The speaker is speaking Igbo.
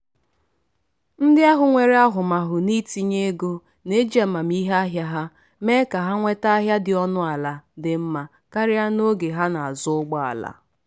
“ndị ahụ nwere ahụmahụ n’itinye ego na-eji amamihe ahịa ha eme ka ha nweta ahịa dị ọnụala dị mma karịa n'oge ha na-azụ ụgbọala.”